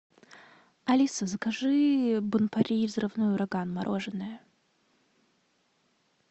алиса закажи бон пари взрывной ураган мороженое